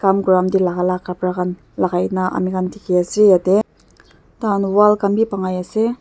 kam Kuratime taelakai la kapra khan lakai na amikhan dikhiase yatae tai kan wall khan bi bhankai ase.